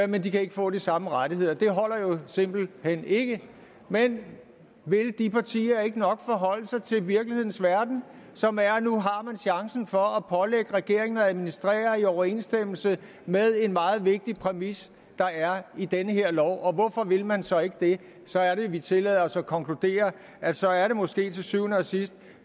men de kan ikke få de samme rettigheder det holder jo simpelt hen ikke men vil de partier ikke nok forholde sig til virkelighedens verden som er at nu har man chancen for at pålægge regeringen at administrere i overensstemmelse med en meget vigtig præmis der er i den her lov hvorfor vil man så ikke det så er det vi tillader os at konkludere at så er det måske til syvende og sidst